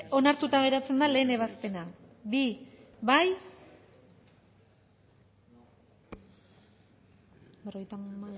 onartuta geratzen da lehen ebazpena bi bozkatu